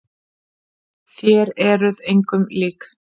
Þér eruð engum lík!